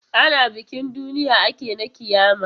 Ana bikin duniya ake na ƙiyama.